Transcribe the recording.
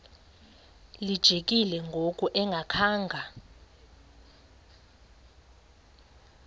lijikile ngoku engakhanga